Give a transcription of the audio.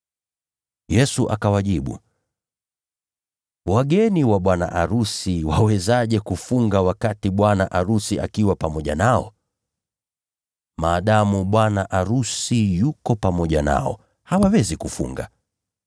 Yesu akawajibu, “Wageni wa bwana arusi wawezaje kufunga wakati angali pamoja nao? Wakati bwana arusi bado yuko pamoja nao, hawawezi kufunga.